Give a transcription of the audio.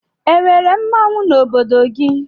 E nwere mmanwụ n'obodo gị?